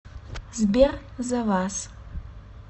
сбер за вас